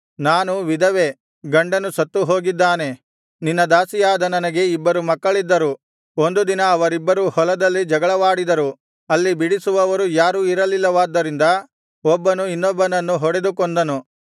ನಾನು ವಿಧವೆ ಗಂಡನು ಸತ್ತು ಹೋಗಿದ್ದಾನೆ ನಿನ್ನ ದಾಸಿಯಾದ ನನಗೆ ಇಬ್ಬರು ಮಕ್ಕಳಿದ್ದರು ಒಂದು ದಿನ ಅವರಿಬ್ಬರೂ ಹೊಲದಲ್ಲಿ ಜಗಳವಾಡಿದರು ಅಲ್ಲಿ ಬಿಡಿಸುವವರು ಯಾರೂ ಇರಲಿಲ್ಲವಾದ್ದರಿಂದ ಒಬ್ಬನು ಇನ್ನೊಬ್ಬನನ್ನು ಹೊಡೆದು ಕೊಂದನು